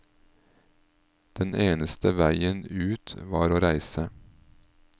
Den eneste veien ut var å reise.